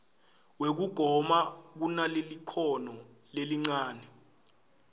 wekugoma kunalelikhono lelincane